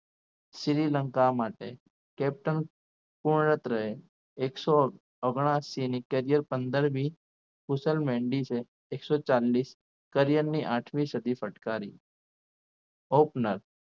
શ્રીલંકા માટે captain પૂર્ણ રહે એકસો અગ્નાસી ની કરિયર પંદર મી ખુશલ મહેંદી છે એકસો ચાલીસ career ની આઠમી સદી ફટકારી opener